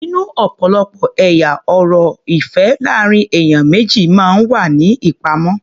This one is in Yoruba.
Nínú ọ̀pọ̀lọpọ̀ ẹ̀yà ọ̀rọ̀ ìfẹ́ láàrín ènìyàn méjì máa ń wà ní ìpamọ́.